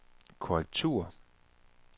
korrektur